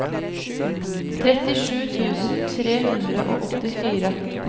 trettisju tusen tre hundre og åttifire